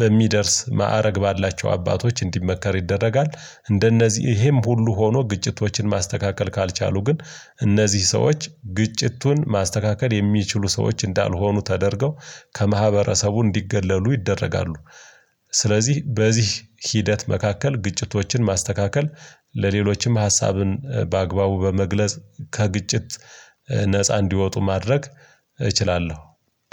በሚደርስ ማዕረግ ባላቸው አባቶች እንዲመከር ይደረጋል። እንደነዚህ ይሄም ሁሉ ሆኖ ግጭቶችን ማስተካከል ካልቻሉ ግን እነዚህ ሰዎች ግጭቱን ማስተካከል የሚችሉ ሰዎች እንዳልሆኑ ተደርገው ከማህበረሰቡ እንዲገለሉ ይደረጋሉ። ስለዚህ በዚህ ሂደት መካከል ግጭቶችን ማስተካከል ለሌሎችም ሀሳብን በአግባቡ በመግለጽ ከግጭት ነፃ እንዲወጡ ማድረግ እችላለሁ።